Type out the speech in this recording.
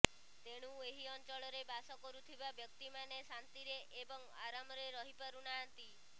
ତେଣୁ ଏହି ଅଞ୍ଚଳରେ ବାସ କରୁଥିବା ବ୍ୟକ୍ତିମାନେ ଶାନ୍ତିରେ ଏବଂ ଆରାମରେ ରହିପାରୁ ନାହାନ୍ତି